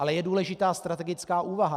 Ale je důležitá strategická úvaha.